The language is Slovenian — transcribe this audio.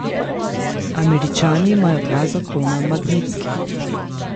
Američani imajo dva zakona Magnitski.